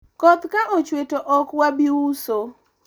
koth ka ochwe to ok wabi uso